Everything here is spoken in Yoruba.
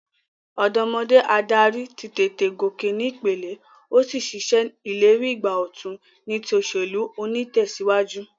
Òdómodé adarí ní tètè gòkè ní ìpele, o sí n se ìlérí ìgbà òtun ní ti òsèlú onítèsíwájú